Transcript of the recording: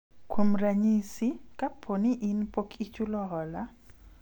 kuom ranyisi, kapo ni in pok ichulo hola